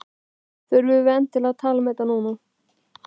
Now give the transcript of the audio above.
Þurfum við endilega að tala um þetta núna?